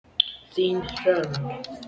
Þín, Hrönn.